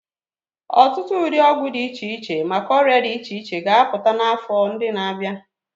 Ọtụtụ ụdị ọgwụ dị iche iche maka ọrịa dị iche iche ga-apụta n'afọ ndị na-abịa.